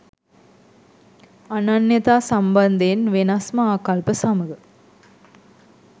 අනන්‍යතා සම්බන්ධයෙන් වෙනස්ම ආකල්ප සමග.